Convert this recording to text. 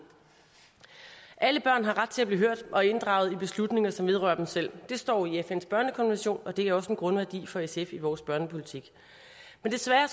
alle børn har ret til at blive hørt og blive inddraget i beslutninger som vedrører dem selv det står i fns børnekonvention og det er også en grundværdi for sf i vores børnepolitik men desværre